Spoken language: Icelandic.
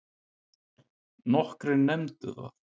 Nokkrir nefndu það.